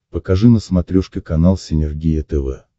покажи на смотрешке канал синергия тв